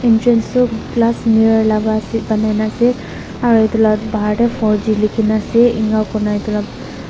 entrance sup glass mirror laga ase banai na ase aru etu laga bahar teh four g likhi na ase ena koina etu lah--